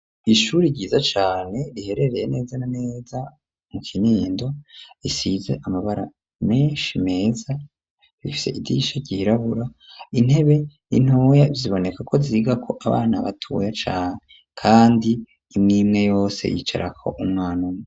Ishure ryiza cane riherereye neza neza mu kinindo risize amabara menshi meza rifise idisha ryirabura intebe ntoya zibonekako zigako abana batoya cane kandi imwimwe yose yicarako umwana umwe.